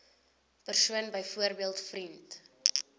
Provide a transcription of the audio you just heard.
persoon byvoorbeeld vriend